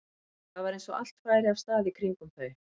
Það var eins og allt færi af stað í kringum þau.